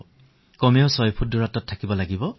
প্ৰথমে নিজকে ছফুট দূৰত্বত ৰাখিব লাগিব